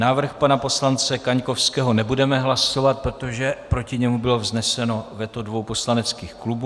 Návrh pana poslance Kaňkovského nebudeme hlasovat, protože proti němu bylo vzneseno veto dvou poslaneckých klubů.